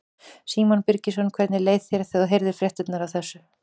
Símon Birgisson: Hvernig leið þér þegar þú heyrðir fréttirnar af þessu?